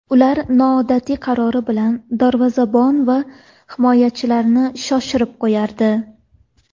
Ular noodatiy qarori bilan darvozabon va himoyachilarni shoshirib qo‘yardi.